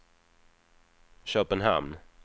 Köpenhamn